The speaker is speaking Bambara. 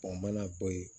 mana bɔ yen